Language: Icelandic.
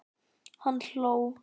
Hann hló.